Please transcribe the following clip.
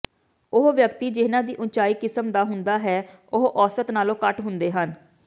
ਉਹ ਵਿਅਕਤੀ ਜਿਹਨਾਂ ਦੀ ਉਚਾਈ ਕਿਸਮ ਦਾ ਹੁੰਦਾ ਹੈ ਉਹ ਔਸਤ ਨਾਲੋਂ ਘੱਟ ਹੁੰਦੇ ਹਨ